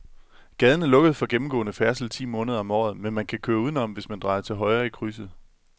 Gaden er lukket for gennemgående færdsel ti måneder om året, men man kan køre udenom, hvis man drejer til højre i krydset.